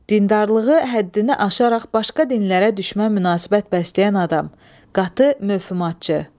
Dindarlığı həddini aşaraq başqa dinlərə düşmən münasibət bəsləyən adam, qatı mövmatçı.